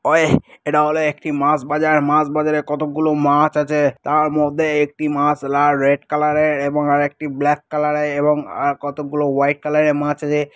ওই এটা হল একটি মাছ বাজার। মাছ বাজারে কতগুলো মাছ আছে। তার মধ্যে একটি মাছ লাল রেড কালার -এ এবং আরেকটি ব্ল্যাক কালার -এ এবং আ কতগুলো হোয়াইট কালার -এ মাছ আছে --